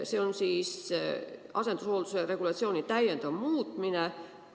See on siis asendushoolduse regulatsiooni täiendav muutmine.